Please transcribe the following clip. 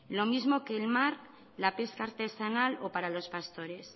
lo mismo que el mar la pesca artesanal o para los pastores